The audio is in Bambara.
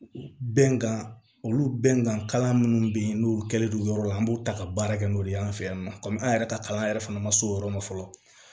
Bɛnkan olu bɛnkan kalan minnu bɛ yen n'olu kɛlen don yɔrɔ la an b'u ta ka baara kɛ n'o de ye an fɛ yan nɔ komi an yɛrɛ ka kalan yɛrɛ fana ma se o yɔrɔ ma fɔlɔ